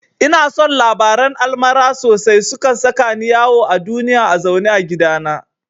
Ina son labaran almara sosai, sukan saka ni yawo a duniya a zaune a gidana